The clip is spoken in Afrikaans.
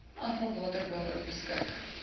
afvalwater waaroor beskik